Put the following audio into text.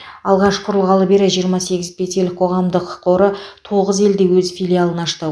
алғаш құрылғалы бері жиырма сегіз петель қоғамдық қоры тоғыз елде өз филиалын ашты